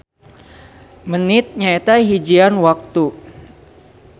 Menit nyaeta hijian waktu